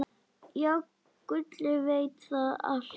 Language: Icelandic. Já, Gulli veit þetta allt.